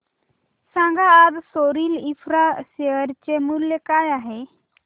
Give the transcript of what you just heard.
सांगा आज Sorril infra share चे मूल्य काय आहे